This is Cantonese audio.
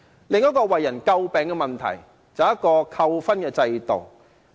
另一個為人詬病的問題是扣分制度。